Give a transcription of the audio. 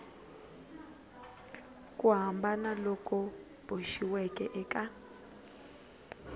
ku hambana loku boxiweke eka